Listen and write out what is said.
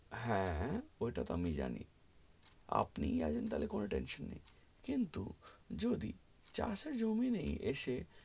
হ্যা ওটা তো আমি জানি আপনেই যদি চাষের জমি নেই তালে তালে কিছু কিন্তু যদি চাষের জমি নেই এসে